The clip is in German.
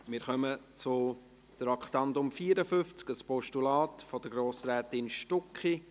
Wir kommen zum Traktandum 54, ein Postulat von Grossrätin Stucki.